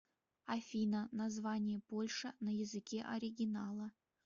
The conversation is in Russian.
афина название польша на языке оригинала